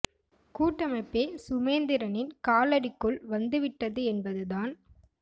கூட்டமைப்பே சுமேந்திரனின் காலடிக்குள் வந்து விட்டது என்பது தான்